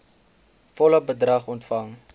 volle bedrag ontvang